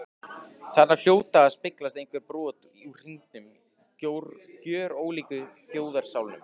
Þarna hljóta að speglast einhver brot úr hinum gjörólíku þjóðarsálum.